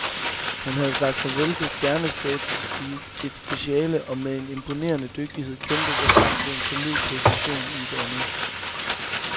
Han havde sagt farvel til stjernestatus i et speciale og med imponerende dygtighed kæmpet sig frem til en solid position i et andet.